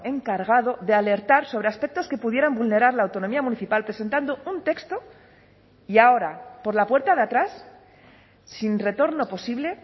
encargado de alertar sobre aspectos que pudieran vulnerar la autonomía municipal presentando un texto y ahora por la puerta de atrás sin retorno posible